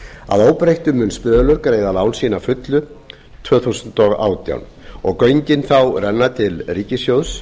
að óbreyttu mun spölur greiða lán sín að fullu tvö þúsund og átján og göngin þá renna til ríkissjóðs